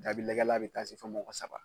Jaabi lajɛla bɛ taa se fo mɔgɔ saba